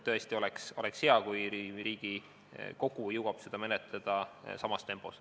Tõesti oleks hea, kui Riigikogu jõuaks seda menetleda samas tempos.